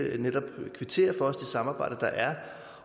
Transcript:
kvittere for det samarbejde der er